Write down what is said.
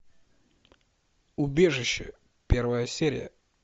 убежище первая серия